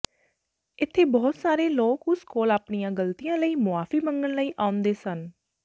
ਇੱਥੇ ਬਹੁਤ ਸਾਰੇ ਲੋਕ ਉਸ ਕੋਲ ਆਪਣੀਆਂ ਗਲਤੀਆਂ ਲਈ ਮੁਆਫੀ ਮੰਗਣ ਲਈ ਆਉਂਦੇ ਸਨ